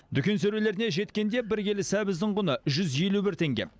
дүкен сөрелеріне жеткенде бір келі сәбіздің құны жүз елу бір теңге